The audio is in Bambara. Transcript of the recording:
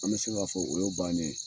An bɛ se k'a fɔ, o ye bannen.